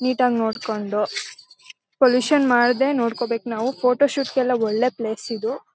Neat ಆಗಿ ನೋಡ್ಕೊಂಡು pollution ಮಾಡದೇ ನೋಡ್ಕೋಬೇಕು ನಾವು ಫೋಟೋ ಶೂಟ್ ಗೆಲ್ಲ ಒಳ್ಳೆ ಪ್ಲೇಸ್ ಇದು.